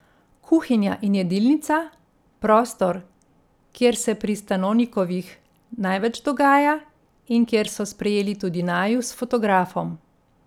Kuhinja in jedilnica, prostor, kjer se pri Stanonikovih največ dogaja in kjer so sprejeli tudi naju s fotografom.